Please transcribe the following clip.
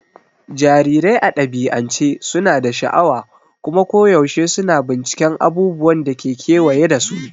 Jarirai a dabi'ance suna da sha'awa kuma koyaushe suna binciken abubuwan da ke kewaye da su.